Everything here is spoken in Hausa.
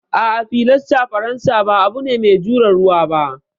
A'a, filastar faransa ba abu ne mai jure ruwa ba.